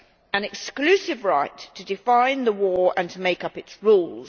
an exclusive right to define the war and to make up its rules.